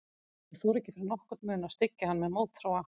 Ég þorði ekki fyrir nokkurn mun að styggja hann með mótþróa.